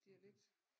Dialekt